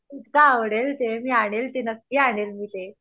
खूप आवडेल ते मी आणील ती नक्की आणील मी ते